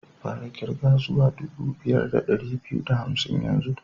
Fara kirga zuwa dubu biyu da dari biyu da hamsin yanzu!